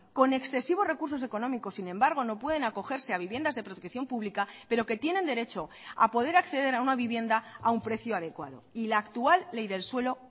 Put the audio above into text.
con excesivos recursos económicos sin embargo no pueden acogerse a viviendas de protección pública pero que tienen derecho a poder acceder a una vivienda a un precio adecuado y la actual ley del suelo